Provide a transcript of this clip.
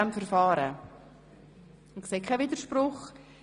Ich sehe keinen Widerspruch.